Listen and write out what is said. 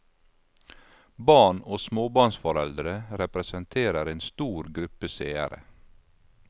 Barn og småbarnsforeldre representerer en stor gruppe seere.